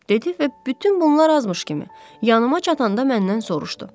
Dedi və bütün bunlar azmış kimi, yanıma çatanda məndən soruşdu.